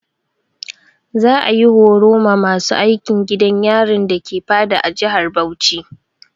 Za'a yi horo ma masu aikin gidan yarin dake Fada a jihar Bauchi.